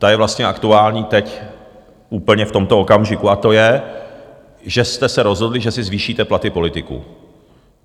Ta je vlastně aktuální teď úplně v tomto okamžiku a to je, že jste se rozhodli, že si zvýšíte platy politiků.